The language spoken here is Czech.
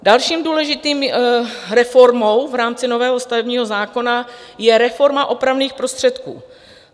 Další důležitou reformou v rámci nového stavebního zákona je reforma opravných prostředků.